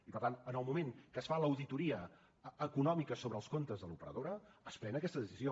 i per tant en el moment que es fa l’auditoria econòmica sobre els comptes de l’operadora es pren aquesta decisió